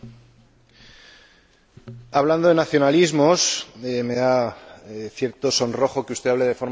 Hablando de nacionalismos, me da cierto sonrojo que usted hable de forma negativa, siendo usted nacionalista.